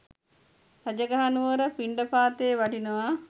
රජගහ නුවර පිණ්ඩපාතයේ වඩිනවා.